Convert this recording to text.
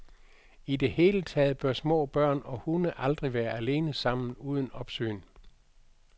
I det hele taget bør små børn og hunde aldrig være alene sammen uden opsyn.